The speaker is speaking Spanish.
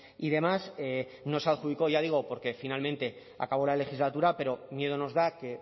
y demás no se adjudicó ya digo porque finalmente acabó la legislatura pero miedo nos da que